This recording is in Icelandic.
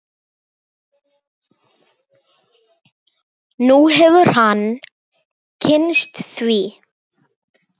Nú hefur hann kynnst því.